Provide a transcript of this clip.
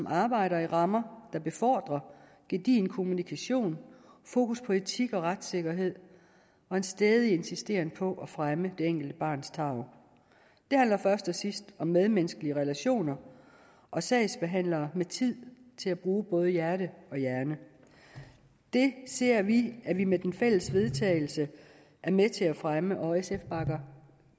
arbejde i rammer der befordrer gedigen kommunikation fokus på etik og retssikkerhed og en stædig insisteren på at fremme det enkelte barns tarv det handler først og sidst om medmenneskelige relationer og sagsbehandlere med tid til at bruge både hjerte og hjerne det ser vi at vi med den fælles vedtagelse er med til at fremme og sf bakker